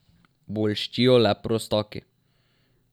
Bolščijo le prostaki.